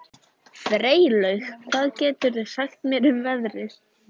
Freylaug, hvað geturðu sagt mér um veðrið?